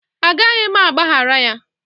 A gaghị m agbaghara ya